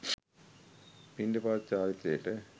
පිණ්ඩපාත චාරිත්‍රයට